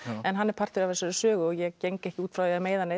en hann er partur af þessari sögu og ég geng ekkert út frá því að meiða neinn